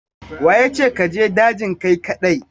Wa ya ce ka je dajin kai kaɗai?